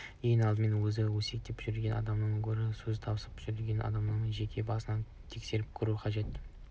ең алдымен өзі өсектеп жүрген адамнан гөрі сөз тасып жүрген адамның жеке басын тексеріп көру қажет